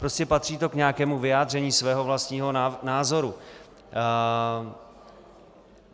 Prostě patří to k nějakému vyjádření svého vlastního názoru.